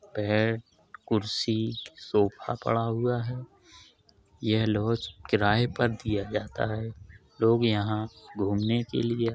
bed कुर्सी sofa पड़ा हुआ है| यह लोज किराए पर दिया जाता है| लोग यहाँ घुमने के लिए--